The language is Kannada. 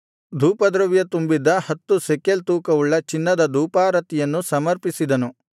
ಧೂಪದ್ರವ್ಯ ತುಂಬಿದ್ದ ಹತ್ತು ಶೆಕೆಲ್ ತೂಕವುಳ್ಳ ಚಿನ್ನದ ಧೂಪಾರತಿಯನ್ನು ಸಮರ್ಪಿಸಿದನು